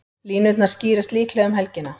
Línurnar skýrast líklega um helgina.